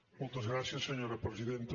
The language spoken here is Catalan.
moltes gràcies senyora presidenta